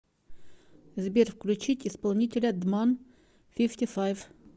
сбер включить исполнителя дман фифти файф